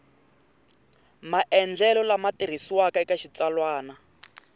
maendlelo lama tirhisiwaka eka xitsalwana